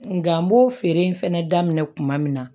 Nka n b'o feere in fɛnɛ daminɛ kuma min na